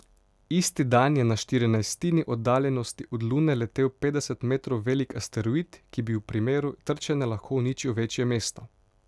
Isti dan je na štirinajstini oddaljenosti od Lune letel petdeset metrov velik asteroid, ki bi v primeru trčenja lahko uničil večje mesto.